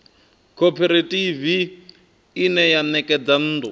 khophorethivi ine ya ṋekedza nnḓu